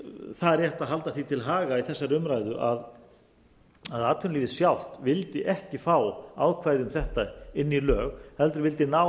það er rétt að halda því til haga í þessari umræðu að atvinnulífið sjálft vildi ekki fá ákvæði um þetta inn í lög heldur vildi ná